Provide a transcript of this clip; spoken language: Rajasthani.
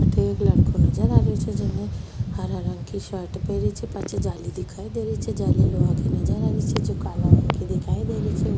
अठे एक लड़को नजर आ रियो छे जिने हरा रंग कि शर्ट पेहरी छे पाछे जाली दिखाई दे रही छे जाली लोहा कि नजर आ रही छे जो काला रंग कि दिखाई दे रही छे।